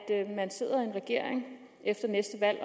regering efter næste valg